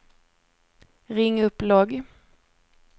ring upp logg